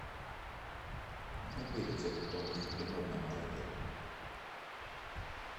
найди рецепт тонких блинов на молоке